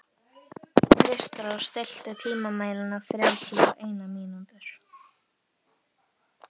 Kristrós, stilltu tímamælinn á þrjátíu og eina mínútur.